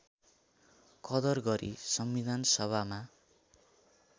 कदर गरी संविधानसभामा